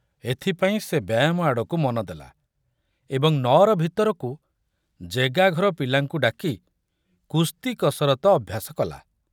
ଏଥିପାଇଁ ସେ ବ୍ୟାୟାମ ଆଡ଼କୁ ମନଦେଲା ଏବଂ ନଅର ଭିତରକୁ ଜେଗାଘର ପିଲାଙ୍କୁ ଡାକି କୁସ୍ତି କସରତ ଅଭ୍ୟାସ କଲା।